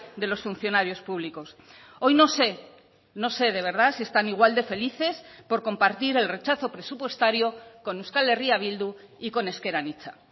de los funcionarios públicos hoy no sé no sé de verdad si están igual de felices por compartir el rechazo presupuestario con euskal herria bildu y con ezker anitza